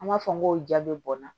An b'a fɔ n ko ja bɛ bɔnna